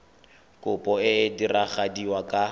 kopo e e diragadiwa ka